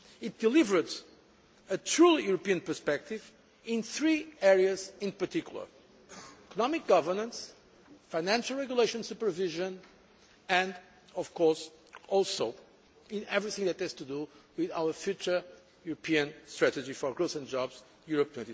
It delivered a true European perspective in three areas in particular economic governance, financial regulation supervision and, of course, in everything that has to do with our future European strategy for growth and jobs, Europe